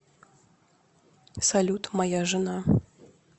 салют моя жена